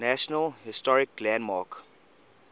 national historic landmark